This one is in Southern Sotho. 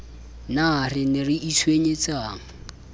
na re ne re itshwenyetsang